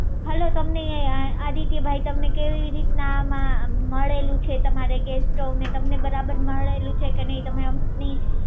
hello તમને આદિત્યભાઈ તમને કેવી રીતે મળેલું છે તમારે ગેસ સ્ટોવને તમને બરાબર મળેલું છે કે નહિ તમને તમે અમને